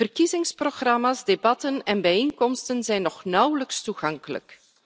Verkiezingsprogramma's, debatten en bijeenkomsten zijn nog steeds nauwelijks toegankelijk.